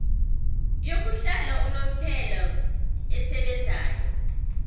yokuhlala unomphela esebenzayo